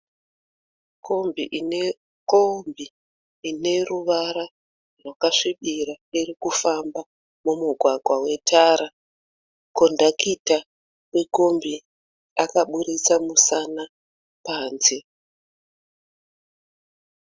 Kombi ineruvara rwakasvibira irikufamba mumugwagwa wetara. Kondakita wekombi akabudisa musana panze.